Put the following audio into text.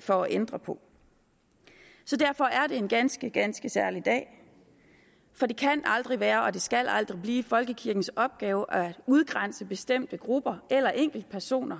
for at ændre på så derfor er det en ganske ganske særlig dag for det kan aldrig være og det skal aldrig blive folkekirkens opgave at udgrænse bestemte grupper eller enkeltpersoner